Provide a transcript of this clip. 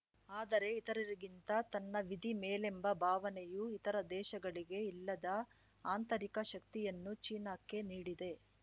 ಆದರೆ ಇತರರಿಗಿಂತ ತನ್ನ ವಿಧಿ ಮೇಲೆಂಬ ಭಾವನೆಯು ಇತರ ದೇಶಗಳಿಗೆ ಇಲ್ಲದ ಆಂತರಿಕ ಶಕ್ತಿಯನ್ನು ಚೀನಾಕ್ಕೆ ನೀಡಿದೆ